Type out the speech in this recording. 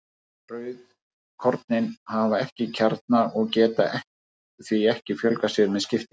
Rauðkornin hafa ekki kjarna og geta því ekki fjölgað sér með skiptingu.